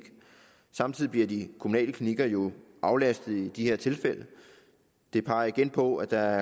samtidig bliver de kommunale klinikker jo aflastet i de her tilfælde og det peger igen på at der